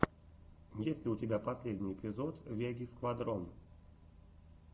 есть ли у тебя последний эпизод веги сквадрон